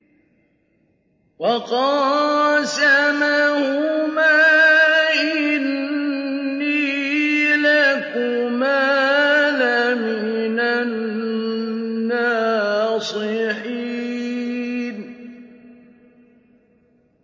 وَقَاسَمَهُمَا إِنِّي لَكُمَا لَمِنَ النَّاصِحِينَ